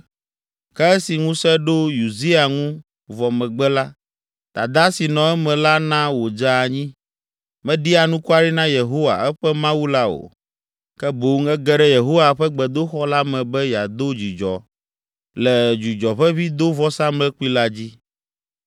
Ke esi ŋusẽ ɖo Uzia ŋu vɔ megbe la, dada si nɔ eme la na wòdze anyi. Meɖi anukware na Yehowa, eƒe Mawu la o, ke boŋ ege ɖe Yehowa ƒe gbedoxɔ la me be yeado dzudzɔ le dzudzɔʋeʋĩdovɔsamlekpui la dzi.